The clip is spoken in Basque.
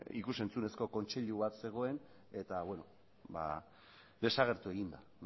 ikus entzunezko kontseilu bat zegoen eta desagertu egin da